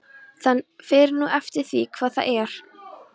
Það fer nú eftir því hvað það er.